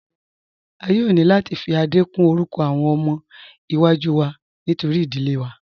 A yóò ni láti fi Adé kún orúkọ awọn ọmọ iwa-jú wá nítorí idílé wá.